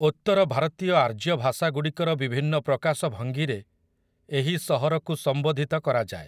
ଉତ୍ତର ଭାରତୀୟ ଆର୍ଯ୍ୟ ଭାଷାଗୁଡ଼ିକର ବିଭିନ୍ନ ପ୍ରକାଶ ଭଙ୍ଗୀରେ ଏହି ସହରକୁ ସମ୍ବୋଧିତ କରାଯାଏ ।